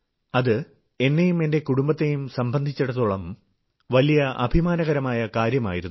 അതെ എന്നെയും എന്റെ കുടുംബത്തെയും സംബന്ധിച്ചിടത്തോളം വലിയ അഭിമാനകരമായ കാര്യമായിരുന്നു